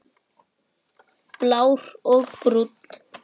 Blár og Brúnn.